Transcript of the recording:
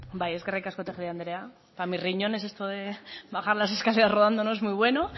bai eskerrik asko tejería andrea para mis riñones esto de bajar las escaleras rodando no es muy bueno